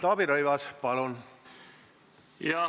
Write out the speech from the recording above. Taavi Rõivas, palun!